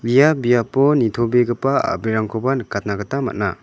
ia biapo nitobegipa a·brirangkoba nikatna gita man·a.